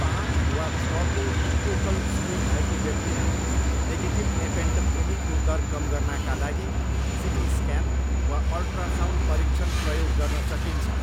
पाँच वा छको इक्वोकल स्कोर भएको व्यक्तिमा, नेगेटिभ एपेन्डेक्टोमीको दर कम गर्नाका लागि सिटी स्क्यान वा अल्ट्रासाउन्ड परीक्षण प्रयोग गर्न सकिन्छ।